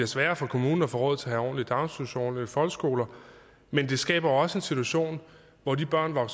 sværere for kommunen at få råd til at have ordentlige daginstitutioner og folkeskoler men det skaber også en situation hvor de børn børn